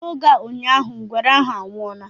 N'oge a ụnyaahụ, ngwere ahu anwụọla